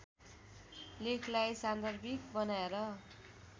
लेखलाई सान्दर्भिक बनाएर